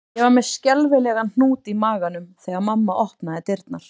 Ég var með skelfilegan hnút í maganum þegar mamma opnaði dyrnar